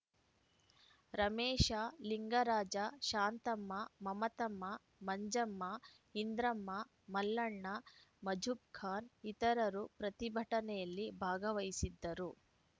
ರಮೇಶ ಲಿಂಗರಾಜ ಶಾಂತಮ್ಮ ಮಮತಮ್ಮ ಮಂಜಮ್ಮ ಇಂದ್ರಮ್ಮ ಮಲ್ಲಣ್ಣ ಮಜುಬ್‌ಖಾನ್‌ ಇತರರು ಪ್ರತಿಭಟನೆಯಲ್ಲಿ ಭಾಗವಹಿಸಿದ್ದರು